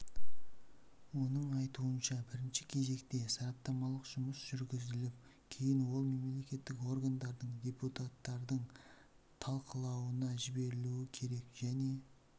оның айтуынша бірінші кезекте сараптамалық жұмыс жүргізіліп кейін ол мемлекеттік органдардың депутаттардың талқылауына жіберілу керек және